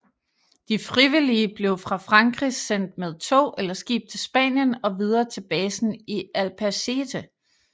De frivillige blev fra Frankrig sendt med tog eller skib til Spanien og videre til basen i Albacete